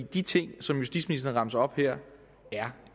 de ting som justitsministeren remser op her er